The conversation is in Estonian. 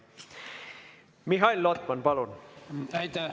Mihhail Lotman, palun!